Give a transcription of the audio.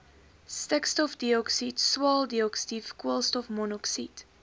stikstofdioksied swaweldioksied koolstofmonoksied